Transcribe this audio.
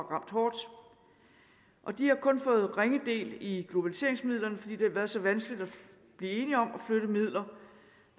ramt hårdt de har kun fået ringe del i globaliseringsmidlerne fordi det har været så vanskeligt at blive enige om at flytte midler